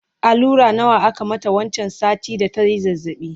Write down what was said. allura nawa aka mata wancan satin da tayi zazzabi?